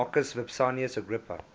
marcus vipsanius agrippa